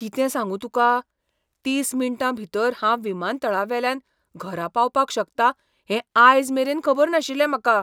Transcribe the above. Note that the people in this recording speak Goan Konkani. कितें सांगू तुका! तीस मिनटां भितर हांव विमानतळावेल्यान घरा पावपाक शकता हें आयज मेरेन खबर नाशिल्लें म्हाका.